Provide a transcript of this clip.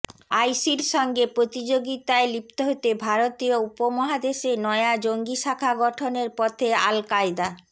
আইসির সঙ্গে প্রতিযোগিতায় লিপ্ত হতে ভারতীয় উপমহাদেশে নয়া জঙ্গি শাখা গঠনের পথে আল কায়দা